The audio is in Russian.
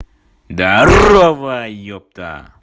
здарово ёпта